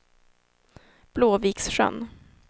Blåviksjön